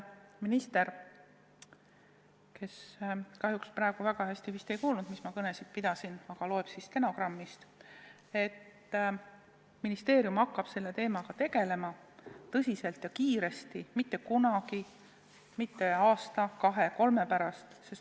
Minister kahjuks praegu mind vist väga hästi ei kuulnud, aga ehk ta loeb siis stenogrammist, et ma tõesti loodan, et ministeerium hakkab selle teemaga tegelema tõsiselt ja kiiresti, mitte millalgi aasta või kahe-kolme pärast.